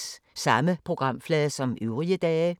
Samme programflade som øvrige dage